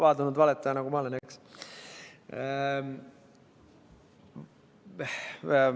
Paadunud valetaja, nagu ma olen, eks?